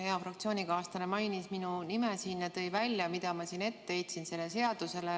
Hea fraktsioonikaaslane mainis minu nime ja tõi välja, mida ma heitsin ette sellele seadusele.